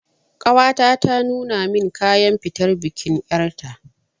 Ƙawata ta nuna min kayan fitar bikin ƴarta